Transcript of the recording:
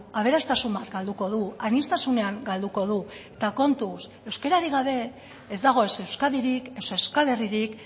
aberastasun bat galduko du aniztasunean galduko du eta kontuz euskararik gabe ez dago es euskadirik ez euskal herririk